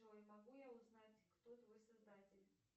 джой могу я узнать кто твой создатель